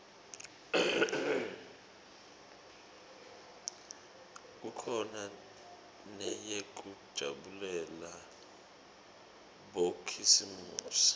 kukhona neyekujabulela bokhisimusi